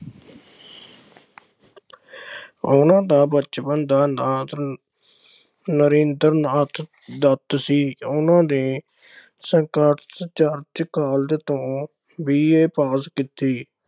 ਉਨ੍ਹਾਂ ਦਾ ਬਚਪਨ ਦਾ ਨਾ ਨਰੇਂਦਰ ਨਾਥ ਦੱਤ ਸੀ। ਉਨ੍ਹਾਂ ਨੇ ਚਰਚ college ਤੋਂ B. Apass ਕੀਤੀ।